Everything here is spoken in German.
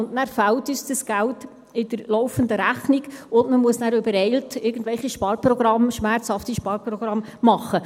Dann fehlt uns das Geld in der laufenden Rechnung, und man muss übereilt irgendwelche schmerzhaften Sparprogramme machen.